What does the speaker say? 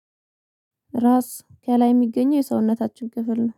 ራስ ከላይ የሚገኘው የሰውነታችን ክፍል ነው